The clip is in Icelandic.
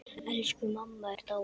Elsku mamma er dáin.